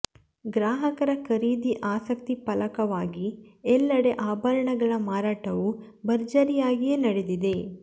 ಗ್ರಾಹಕರ ಖರೀದಿ ಆಸಕ್ತಿ ಫಲವಾಗಿ ಎಲ್ಲೆಡೆ ಆಭರಣಗಳ ಮಾರಾಟವು ಭರ್ಜರಿಯಾಗಿಯೇ ನಡೆದಿದೆ